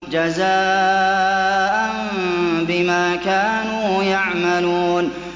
جَزَاءً بِمَا كَانُوا يَعْمَلُونَ